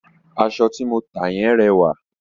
Aṣọ ti mo ta yẹn rẹwà.